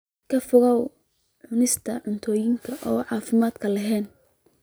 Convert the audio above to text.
Ka fogow cunista cuntooyinka aan caafimaadka lahayn.